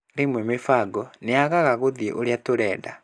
Rĩmwe mĩbango nĩ yaagaga gũthiĩ ũrĩa tũrenda.